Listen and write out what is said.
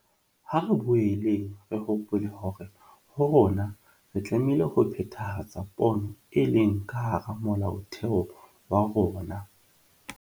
Ha re boeleng re hopole hore ho rona re tlameile ho phethahatsa pono e leng ka hara Molaotheo wa rona.